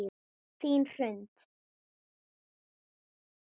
Þín Hrund.